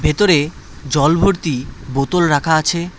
ভেতরে জল ভর্তি বোতল রাখা আছে।